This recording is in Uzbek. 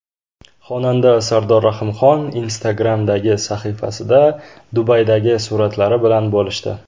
Xonanda Sardor Rahimxon Instagram’dagi sahifasida Dubaydagi suratlari bilan bo‘lishdi.